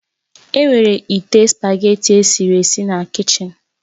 Enwere ite spugeetí i esiri esi na kichin